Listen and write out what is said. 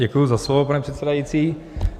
Děkuji za slovo, pane předsedající.